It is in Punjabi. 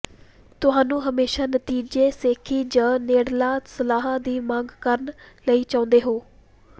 ਤੁਹਾਨੂੰ ਹਮੇਸ਼ਾ ਨਤੀਜੇ ਸ਼ੇਖੀ ਜ ਨੇੜਲਾ ਸਲਾਹ ਦੀ ਮੰਗ ਕਰਨ ਲਈ ਚਾਹੁੰਦੇ ਹੋ